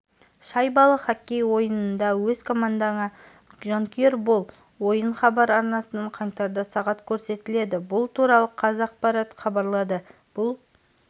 шайбалы хоккей ойынында өз командаңа жанкүйер бол ойын хабар арнасынан қаңтарда сағат көрсетіледі бұл туралықазақпаратхабарлады бұл